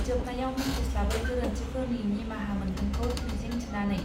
जोबनायाव मिथिस्लाबै गोरोन्थिफोरनि निमाहा मोनगोनखौ मिजिं थिनानै.